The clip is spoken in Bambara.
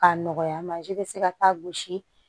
K'a nɔgɔya mansin bɛ se ka taa gosi